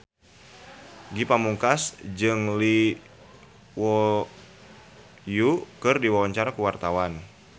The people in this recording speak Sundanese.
Ge Pamungkas jeung Lee Yo Won keur dipoto ku wartawan